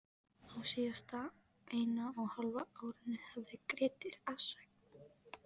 Á síðasta eina og hálfa árinu hafði Grettir að sögn